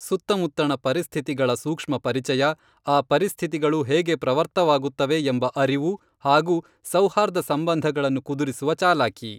ಸುತ್ತಮುತ್ತಣ ಪರಿಸ್ಥಿತಿಗಳ ಸೂಕ್ಷ್ಮ ಪರಿಚಯ, ಆ ಪರಿಸ್ಥಿತಿಗಳು ಹೇಗೆ ಪ್ರವರ್ತವಾಗುತ್ತವೆ ಎಂಬ ಅರಿವು ಹಾಗೂ ಸೌಹಾರ್ದ ಸಂಬಂಧಗಳನ್ನು ಕುದುರಿಸುವ ಚಾಲಾಕಿ.